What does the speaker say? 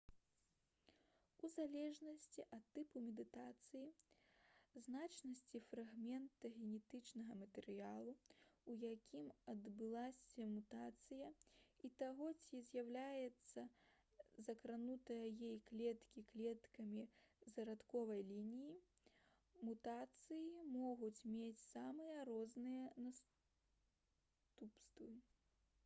у залежнасці ад тыпу мутацыі значнасці фрагмента генетычнага матэрыялу у якім адбылася мутацыя і таго ці з'яўляюцца закранутыя ёй клеткі клеткамі зародкавай лініі мутацыі могуць мець самыя розныя наступствы